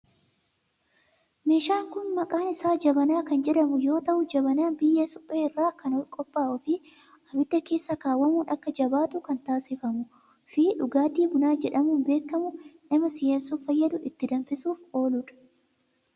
Meeshaan kun maqaan isaa jabanaa kan jedhamu yoo ta'u, jabanaan biyyee suphee irraa kan qophaa'uu fi ibidda keessa kaawwamuun akka jabaatu kan taasifamuu fi dhugaatii buna jedhamuun beekamu nama si'eessuuf fayyadu ittiin danfisuuf oolu dha.